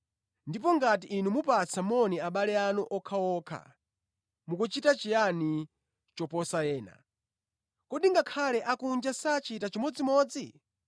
Ndipo ngati inu mupatsa moni abale anu okhaokha mukuchita chiyani choposa ena? Kodi ngakhale akunja sachita chimodzimodzi?